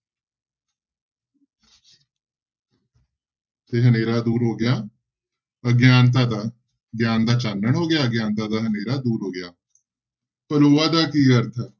ਤੇ ਹਨੇਰਾ ਦੂਰ ਹੋ ਗਿਆ, ਅਗਿਆਨਤਾ ਦਾ, ਗਿਆਨ ਦਾ ਚਾਨਣ ਹੋ ਗਿਆ, ਅਗਿਆਨਤਾ ਦਾ ਹਨੇਰਾ ਦੂਰ ਹੋ ਗਿਆ ਪਲੋਆ ਦਾ ਕੀ ਅਰਥ ਹੈ?